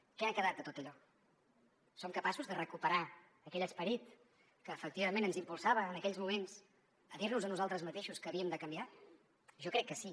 què ha quedat de tot allò som capaços de recuperar aquell esperit que efectivament ens impulsava en aquells moments a dir nos a nosaltres mateixos que havíem de canviar jo crec que sí